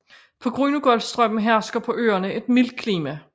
På grund af golfstrømmen hersker på øerne et mildt klima